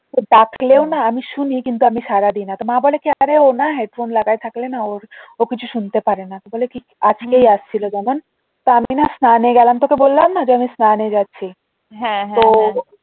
ও ডাকলেও না আমি শুনি কিন্তু আমি সাড়া দি না মা বলে কি না আরে ও না হেডফোন লাগায়ে থাকলে না ওর ও কিছু শুনতে পারেনা বলে কি আজকেই আসছিল যেমন আমি না স্নানে গেলাম তোকে বললাম না আমি স্নানে যাচ্ছি তো